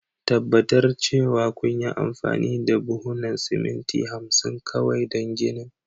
tabbatar cewa kunyi amfani da buhunan siminti 50 kawai don ginin.